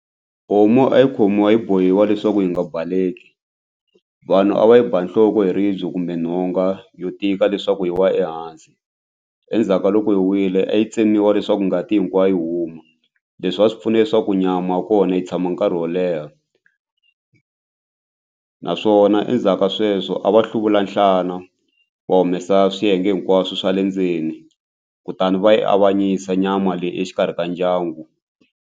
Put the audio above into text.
Homu a yi khomiwa yi bohiwa leswaku yi nga baleki vanhu a va yi ba nhloko hi ribye kumbe nhonga yo tika leswaku hi wa ehansi endzhaku ka loko yi wile a yi tsemiwa leswaku ngati hinkwayo huma leswi a swi pfuna leswaku nyama ya kona yi tshama nkarhi wo leha naswona endzhaku ka sweswo a va hluvula nhlana wa humesa swiyenge hinkwaswo swa le ndzeni kutani va yi avanyisa nyama leyi exikarhi ka ndyangu.